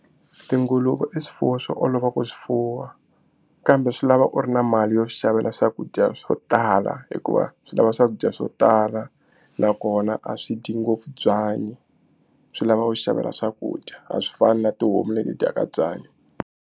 Tinguluve i swifuwo swo olova ku swi fuwa kambe swi lava u ri na mali yo swi xavela swakudya swo tala hikuva swi lava swakudya swo tala nakona a swi dyi ngopfu byanyi swi lava u xavela swakudya a swi fani na tihomu leti dyaka byanyi.